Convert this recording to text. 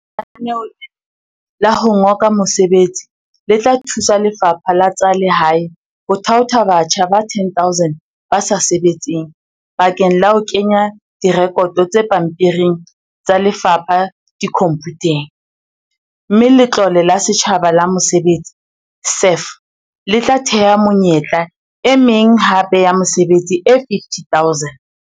Lenaneo lena la ho ngoka mesebetsi le tla thusa Lefapha la tsa Lehae ho thaotha batjha ba 10 000 ba sa sebetseng bakeng la ho kenya direkoto tse pampiring tsa lefapha dikhomphuteng, mme Letlole la Setjhaba la Mesebetsi, SEF, le tla thea menyetla e meng hape ya mesebetsi e 50 000.